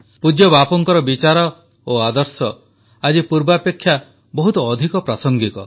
ପୂଜ୍ୟ ବାପୁଙ୍କର ବିଚାର ଓ ଆଦର୍ଶ ଆଜି ପୂର୍ବାପେକ୍ଷା ବହୁତ ଅଧିକ ପ୍ରାସଙ୍ଗିକ